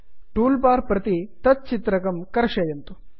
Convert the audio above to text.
tool bar प्रति तत् चित्रकं कर्षयन्तु